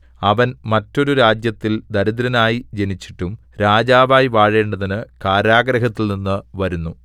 അവൻ മറ്റൊരു രാജ്യത്തിൽ ദരിദ്രനായി ജനിച്ചിട്ടും രാജാവായി വാഴേണ്ടതിന് കാരാഗൃഹത്തിൽനിന്നു വരുന്നു